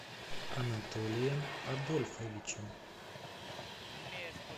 анатолием адольфовичем